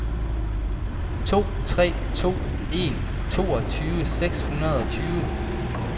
to tre to en toogtyve seks hundrede og tyve